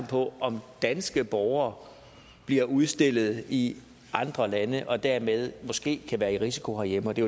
på om danske borgere bliver udstillet i andre lande og dermed måske kan være i risiko herhjemme det